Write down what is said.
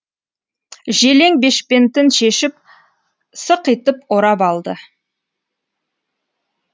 желең бешпентін шешіп сықитып орап алды